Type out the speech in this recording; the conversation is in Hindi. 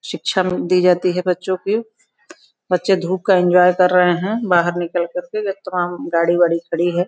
शिक्षा दी जाती है बच्चों की। बच्चे धूप का एन्जॉय कर रहे हैं बाहर निकल करके तमाम गाड़ी वाडी खड़ी हैं।